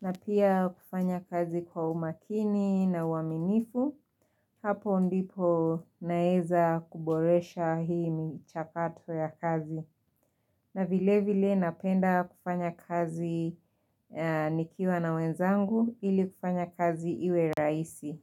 na pia kufanya kazi kwa umakini na uaminifu, hapo ndipo naweza kuboresha hii michakato ya kazi na vile vile napenda kufanya kazi nikiwa na wenzangu ili kufanya kazi iwe raisi.